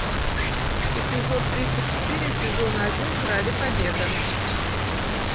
эпизод тридцать четыре сезона один короли побега